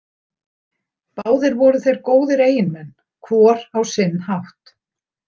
Báðir voru þeir góðir eiginmenn hvor á sinn hátt.